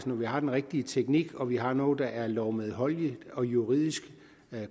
når vi har den rigtige teknik og når vi har noget der er lovmedholdeligt og juridisk